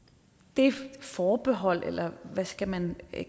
det forbehold eller hvad skal man